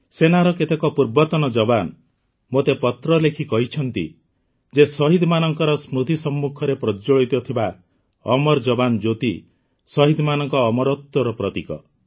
ସେନାର କେତେକ ପୂର୍ବତନ ଯବାନ୍ ମୋତେ ପତ୍ର ଲେଖି କହିଛନ୍ତି ଯେ ଶହୀଦମାନଙ୍କ ସ୍ମୃତି ସମ୍ମୁଖରେ ପ୍ରଜ୍ଜ୍ୱଳିତ ଥିବା ଅମର ଯବାନ୍ ଜ୍ୟୋତି ଶହୀଦମାନଙ୍କ ଅମରତ୍ୱର ପ୍ରତୀକ